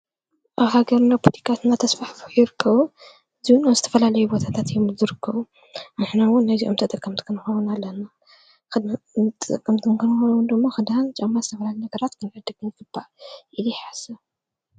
ኣብ ሃገርና ፑሊቃትናተስፋሕ ፍኢርከዉ ዙንዝተፈላልይቦታታት እዮም ዝርክ ኣሕነውን ነዙ እምተ ጠቀምትከንዋውን ኣለና ኽዳንጥጠቀምትንክንዋንዶእሞ ኽዳን ጨማ ዝሰብላል ነገራት ክነድግን ግባእ ይልሓሰ።